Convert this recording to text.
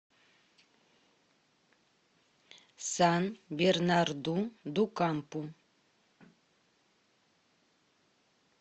сан бернарду ду кампу